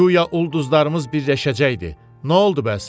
Guya ulduzlarımız birləşəcəkdi, noldu bəs?